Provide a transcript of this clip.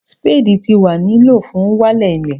sípédì ti wa ni lo fun walẹ ile